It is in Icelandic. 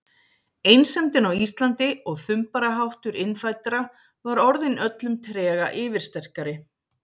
Einsemdin á Íslandi og þumbaraháttur innfæddra var orðin öllum trega yfirsterkari.